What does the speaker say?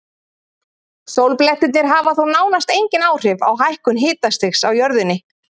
Sólblettirnir hafa þó nánast engin áhrif á hækkun hitastigs á jörðunni.